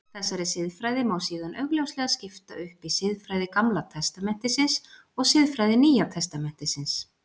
Þessari siðfræði má síðan augljóslega skipta upp í siðfræði Gamla testamentisins og siðfræði Nýja testamentisins.